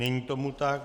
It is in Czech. Není tomu tak.